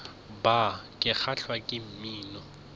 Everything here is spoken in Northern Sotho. bar ke kgahlwa ke mmino